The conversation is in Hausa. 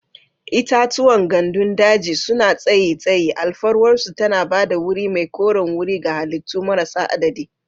Itatuwan gandun daji suna tsayi tsayi, alfarwarsu tana ba da wuri mai koren wuri ga halittu marasa adadi.